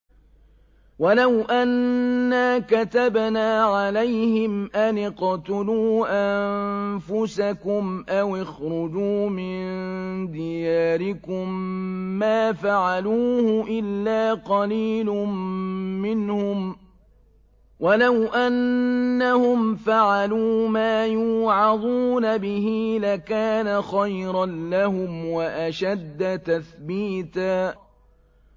وَلَوْ أَنَّا كَتَبْنَا عَلَيْهِمْ أَنِ اقْتُلُوا أَنفُسَكُمْ أَوِ اخْرُجُوا مِن دِيَارِكُم مَّا فَعَلُوهُ إِلَّا قَلِيلٌ مِّنْهُمْ ۖ وَلَوْ أَنَّهُمْ فَعَلُوا مَا يُوعَظُونَ بِهِ لَكَانَ خَيْرًا لَّهُمْ وَأَشَدَّ تَثْبِيتًا